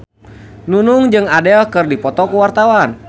Nunung jeung Adele keur dipoto ku wartawan